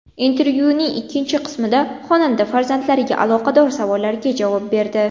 Intervyuning ikkinchi qismida xonanda farzandlariga aloqador savollarga javob berdi.